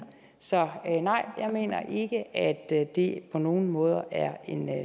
så nej jeg mener ikke at det på nogen måde er en